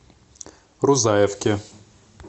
рузаевке